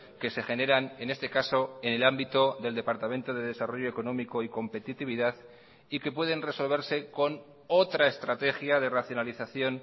que se generan en este caso en el ámbito del departamento de desarrollo económico y competitividad y que pueden resolverse con otra estrategia de racionalización